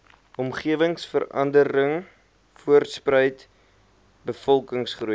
omgewingsverandering voortspruit bevolkingsgroei